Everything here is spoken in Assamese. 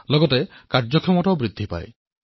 ইয়াৰ লগতে কাৰ্যক্ষমতাও বৃদ্ধি হল